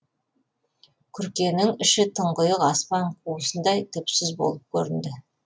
күркенің іші тұңғиық аспан қуысындай түпсіз болып көрінді